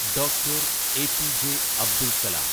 doctor APJ Abdul Kalam